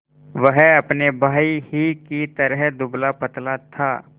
वह अपने भाई ही की तरह दुबलापतला था